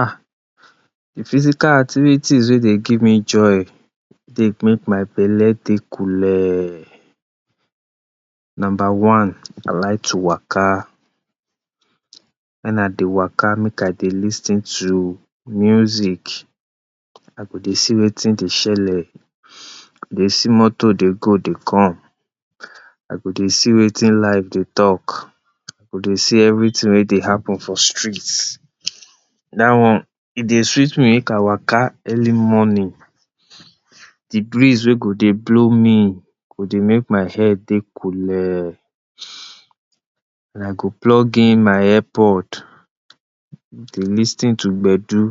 Ah di physical activites wey dey give me joy wey dey make my belle take coolee, number one I like to waka, wen I dey waka make I dey lis ten to music, I go dey see watin de, dey see motor dey go dey come, I go dey see watin life dey talk, I go dey see everytin wey dey happen for street, dat one e dey sweet me make I waka early morning, di breeze wey go dey blow me go dey make my head dey coolee and I go plug in my earpod to lis ten to gbedu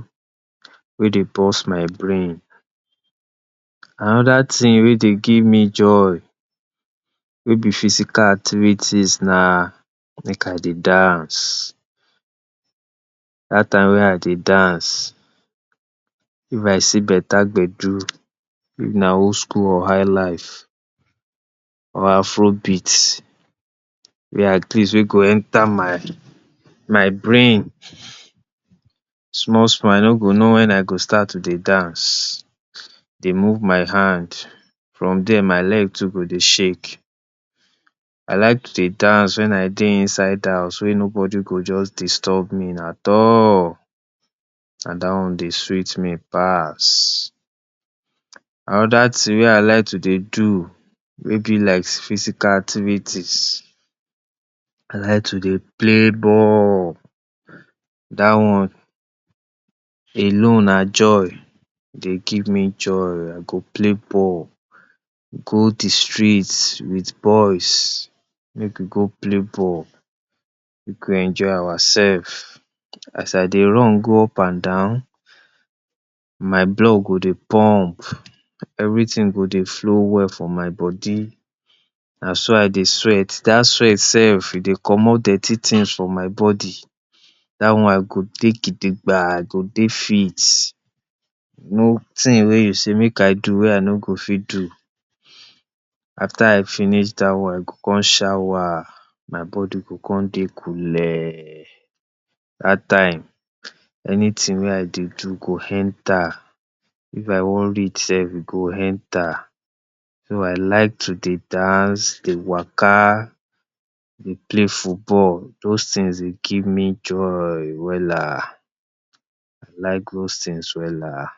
wey dey burst my brain. Anoda tin wey dey give me joy wey be physical activities na make I dey dance, dat time wey I dey dance if I see beta gbedu, if na old school or high life or afrobeat wey at least wey go enter my brain small small I no go know wen I go start to dey dance, dey move my hand from dia my leg too go dey shake. I like to dey dance wen I dey inside house wey no body go jus disturb me at all na dat one dey sweet me pass. Anoda tin wey I like to dey do wey be like physical activites, I like to dey play ball, dat one alone na joy e dey give me joy. Play ball, go di street with boys make we go play ball make we enjoy ourselves, as I dey run go un and down my blood go dey pump, everytin go dey flow well for my body, na so I dey sweat dat sweat sef e dey commot dirty tins for my body, dat one I go dey gidigba I go dey fit notin wey you sey make I do wey I no go fit do. After I finish dat one I go come shower my body go come dey coolee, dat time anytin wey I dey do go enter, if I wan read self go enter, so I like to dey dance, dey waka, dey play football those tins dey give me joy wella, I like those tins wella